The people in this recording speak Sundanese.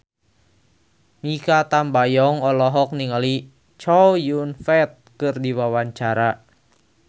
Mikha Tambayong olohok ningali Chow Yun Fat keur diwawancara